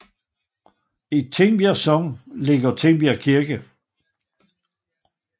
I Tingbjerg Sogn ligger Tingbjerg Kirke